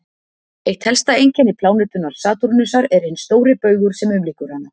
eitt helsta einkenni plánetunnar satúrnusar er hinn stóri baugur sem umlykur hana